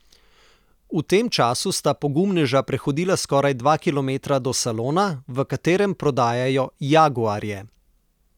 V tem času sta pogumneža prehodila skoraj dva kilometra do salona, v katerem prodajajo jaguarje.